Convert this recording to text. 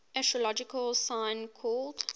astrological sign called